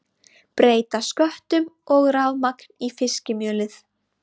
Breyta sköttum og rafmagn í fiskimjölið